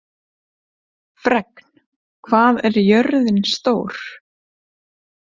Fregn, hvað er jörðin stór?